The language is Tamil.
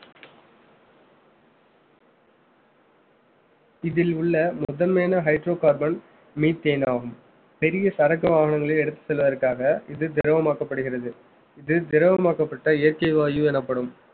இதில் உள்ள முதன்மையான hydrocarbon methane ஆகும் பெரிய சரக்கு வாகனங்களை எடுத்துச் செல்வதற்காக இது திரவமாக்கப்படுகிறது இது திரவமாக்கப்பட்ட இயற்கை வாயு எனப்படும்